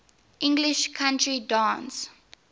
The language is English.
english country dance